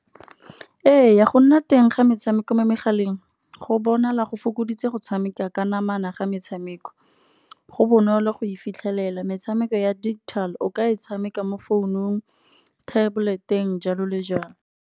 Ee go nna teng ga metshameko mo megaleng, go bona la go fokoditse go tshameka ka namana ga metshameko. Go bonolo go e fitlhelela metshameko ya digital, o ka e tshameka mo founung, tablet-eng jalo le jalo.